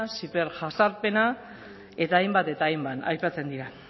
ziberjazarpena eta hainbat eta hainbat aipatzen dira